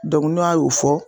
n'a y'o fɔ.